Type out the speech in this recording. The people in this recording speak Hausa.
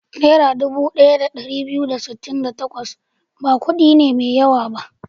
Naira dubu ɗaya da ɗari biyu da sittin da takwas ba kuɗi ne mai yawa ba.